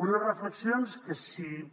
unes reflexions que si